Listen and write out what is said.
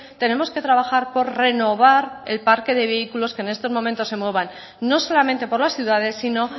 tenemos que trabajar por renovar el parque de vehículos que en estos momentos se muevan no solamente por las ciudades sino